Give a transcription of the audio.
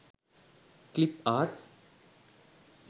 clip arts